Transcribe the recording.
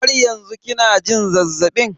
Har yanzu kina jin zazzabin?